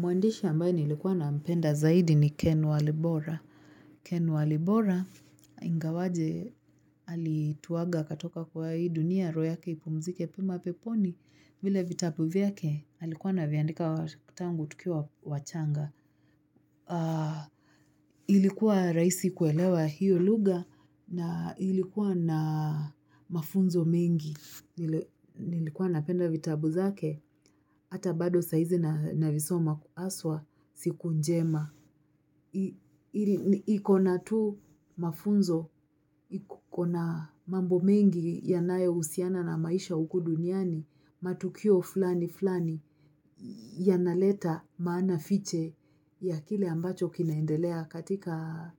Mwandishi ambaye nilikuwa nampenda zaidi ni Ken Walibora. Ken Walibora, ingawaje alituaga akatoka kwenye hii dunia, roho yake ipumzike kwa pema peponi. Vile vitabu vyake alikuwa anaviandika tangu tukiwa wachanga. Ilikuwa rahisi kuelewa hiyo lugha na ilikuwa na mafunzo mengi. Nilikuwa napenda vitabu zake hata bado saa hizi navisoma haswa siku njema iko na mafunzo. Iko na mambo mengi yanayohusiana na maisha huku duniani. Matukio fulani fulani yanaleta maana fiche ya kile ambacho kinaendelea katika